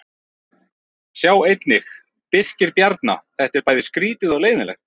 Sjá einnig: Birkir Bjarna: Þetta er bæði skrýtið og leiðinlegt